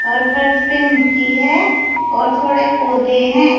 और फर्श पे मिट्टी है और थोड़े पौधे हैं।